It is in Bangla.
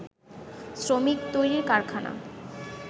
শ্রমিক তৈরির কারখানা